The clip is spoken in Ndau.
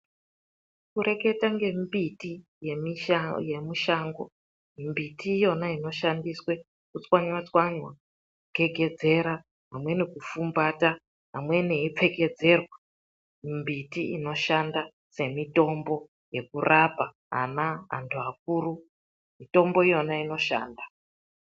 Kureketa ngembiti yemushango, mbiti iyona inoshandiswe kutswanywa tswanywa kugegedzerwa amweni kufumbata amweni eipfekedzerwa. Mimbiti inoshanda semitombo yekurapa ana, anhu akuru. Mitombo iyona inoshanda.